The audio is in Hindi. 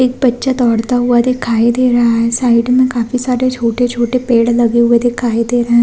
एक बच्चा दौड़ता हुआ दिखाई दे रहा है साइड में काफी सारे छोटे-छोटे पेड़ लगे हुए दिखाई दे रहे है।